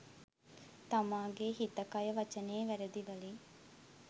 තමාගේ හිත කය වචනය වැරැදි වලින්